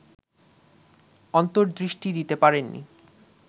অন্তর্দৃষ্টি দিতে পারেননি